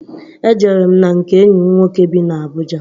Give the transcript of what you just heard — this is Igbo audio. Ejere m na nke enyi m nwoke bị n'Abuja.